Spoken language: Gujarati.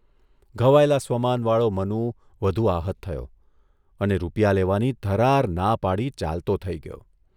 ઘવાયેલા સ્વમાનવાળો મનુ વધુ આહત થયો અને રૂપિયા લેવાની ધરાર ના પાડી ચાલતો થઇ ગયો.